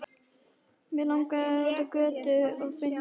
Mig langaði út á götu og beint á Mokka.